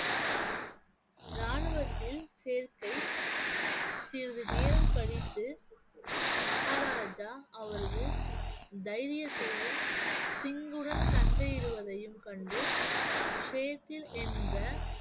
ராணுவத்தில் சேர்க்கை சிறிது நேரம் கழித்து மகாராஜா அவரது தைரியத்தையும் சிங்குடன் சண்டையிடுவதையும் கண்டு என்ற